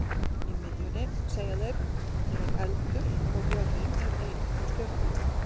Í miðjunni, segja þeir, er eldur og jörðin er ein af stjörnunum.